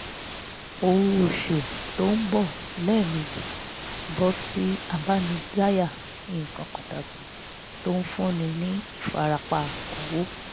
owó oṣù tó ń bọ lẹ́ẹ̀mejì ń bọ́ sí àdánidáyà nǹkan pàtàkì tó ń fúnni ní ìfarapa owó